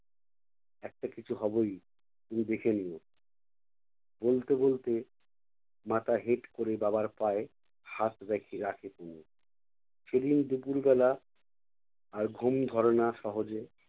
একটা কিছু হবোই তুমি দেখে নিও বলতে বলতে মাথা হেট করে বাবার পায়ে হাত রেখে~ রাখে তনু। সেদিন দুপুরবেলা আর ঘুম ধরে না সহজে